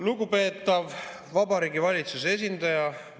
Lugupeetav Vabariigi Valitsuse esindaja!